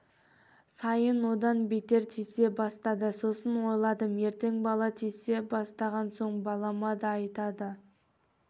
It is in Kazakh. сайын одан бетер тисе бастады сосын ойладым ертең бала тисе бастаған соң балама да айтады